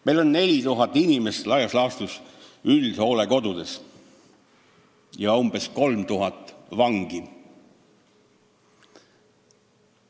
Meil on üldhooldekodudes on laias laastus 4000 inimest ja meil on umbes 3000 vangi.